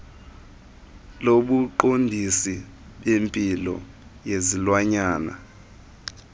lobuqondisi bempilo yezilwanyana